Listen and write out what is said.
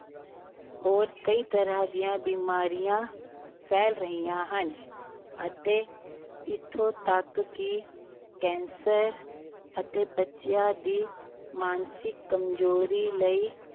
ਹੋਰ ਕਈ ਤਰ੍ਹਾਂ ਦੀਆਂ ਬਿਮਾਰੀਆਂ ਫੈਲ ਰਹੀਆਂ ਹਨ ਅਤੇ ਇੱਥੋਂ ਤੱਕ ਕਿ ਕੈਂਸਰ ਅਤੇ ਬੱਚਿਆਂ ਦੀ ਮਾਨਸਿਕ ਕਮਜੋਰੀ ਲਈ